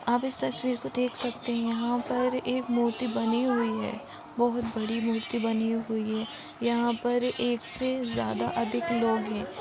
आप इस तस्वीर को देख सकते हैं यहाँ पर एक मूर्ति बनी हुई है बहुत बड़ी मूर्ति बनी हुई है यहाँ पर एक से ज्यादा अधिक लोग है।